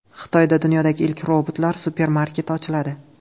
Xitoyda dunyodagi ilk robotlar supermarketi ochiladi.